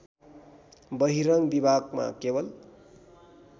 बहिरङ्ग विभागमा केवल